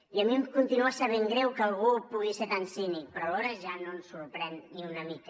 i a mi em continua sabent greu que algú pugui ser tan cínic però alhora ja no ens sorprèn ni una mica